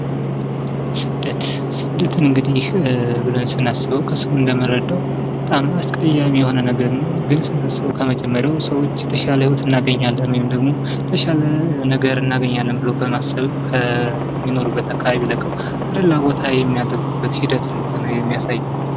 ስደት፦ ስደትን እንግዲህ ብለን ስናስበው ከስሙ እንደምንረዳው በጣም አስቀያሚ የሆነ ነገር ነው ከመጀመሪያው ሰዎች የተሻለ ህይወት እናገኛለን ወይም ደግሞ የተሻለ ነገር እናገኛለን ብለው በማሰብ ከአንድ ቦታ ለቀው ወደ ሌላ ቦታ የሚያደርጉበት ሂደት እንደሆነ የሚያሳይ ነው።